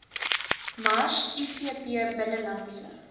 mars ivp binnelandse